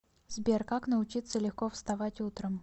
сбер как научиться легко вставать утром